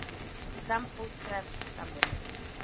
Sambúð krefst samvinnu.